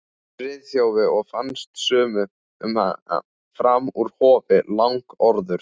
Friðþjófi og fannst sumum hann fram úr hófi langorður.